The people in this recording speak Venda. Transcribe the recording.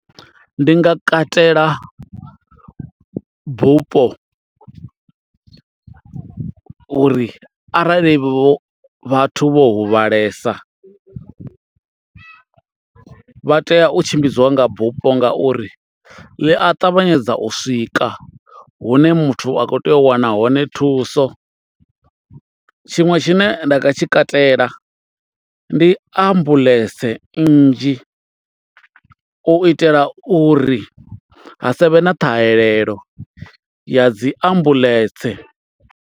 Ndi nga katela bupo uri arali vho vhathu vho huvhalesa vha tea u tshimbidziwa nga bufho ngauri ḽi a ṱavhanyedza u swika hune muthu a kho tea u wana hone thuso tshiṅwe tshine nda nga tshi katela ndi ambuḽentse nnzhi u itela uri ha savhe na ṱhahelelo ya dzi ambuḽentse.